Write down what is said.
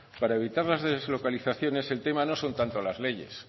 para evitar las deslocalizaciones el tema no son tanto las leyes